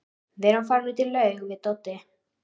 Við erum farin út í laug við Doddi.